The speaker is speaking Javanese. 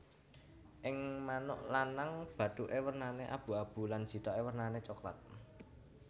Ing manuk lanang bathuke wernane abu abu lan jithoke wernane coklat